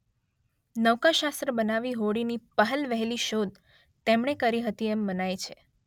નૌકાશાસ્ત્ર બનાવી હોડીની પહેલવહેલી શોધ તેમણે કરી હતી એમ મનાય છે.